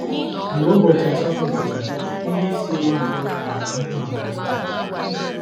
Mgbe ụbọchị asatọ gachara, ndị isi ụlọ mkpọrọ kwere ka m hụ Margaritha ọzọ.